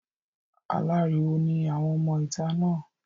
Aláriwo ni àwọn ọmọ ìta náà.